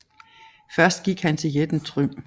Først gik han til jætten Trym